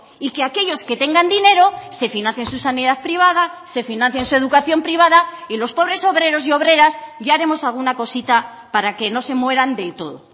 y que aquellos que tengan dinero se financien su sanidad privada se financien su educación privada y los pobres obreros y obreras ya haremos alguna cosita para que no se mueran del todo